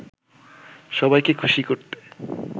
সবাইকে খুশি করতে